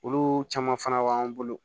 Olu caman fana b'an bolo